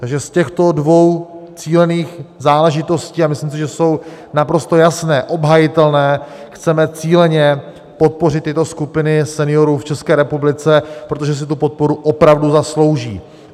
Takže z těchto dvou cílených záležitostí, a myslím si, že jsou naprosto jasné, obhajitelné, chceme cíleně podpořit tyto skupiny seniorů v České republice, protože si tu podporu opravdu zaslouží.